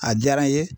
A diyara n ye